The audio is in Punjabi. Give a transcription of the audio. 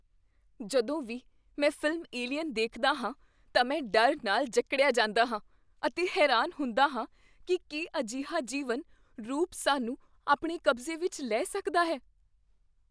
ਜਦੋਂ ਵੀ ਮੈਂ ਫ਼ਿਲਮ "ਏਲੀਅਨ" ਦੇਖਦਾ ਹਾਂ ਤਾਂ ਮੈਂ ਡਰ ਨਾਲ ਜਕੜਿਆਂ ਜਾਂਦਾ ਹਾਂ ਅਤੇ ਹੈਰਾਨ ਹੁੰਦਾ ਹਾਂ ਕੀ ਕੀ ਅਜਿਹਾ ਜੀਵਨ ਰੂਪ ਸਾਨੂੰ ਆਪਣੇ ਕਬਜ਼ੇ ਵਿੱਚ ਲੈ ਸਕਦਾ ਹੈ।